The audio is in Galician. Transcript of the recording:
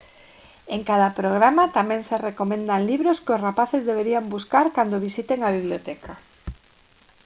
en cada programa tamén se recomendan libros que os rapaces deberían buscar cando visiten a biblioteca